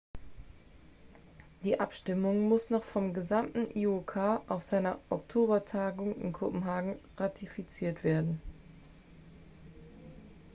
die abstimmung muss noch vom gesamten iok auf seiner oktobertagung in kopenhagen ratifiziert werden